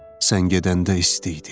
Sən gedəndə isti idi.